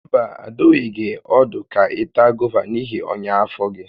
Mba, adụghị gị ọdụ ka ị taa gova n'ihi ọnya afọ gị